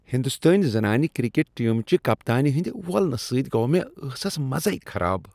ہنٛدوستٲنۍ زنانہٕ کرکٹ ٹیمہ چہ کپتانہ ہندِ وولنہ سۭتۍ گوٚو مےٚ ٲسس مزے خراب۔